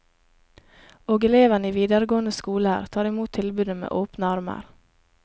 Og elevene i videregående skoler, tar i mot tilbudet med åpne armer.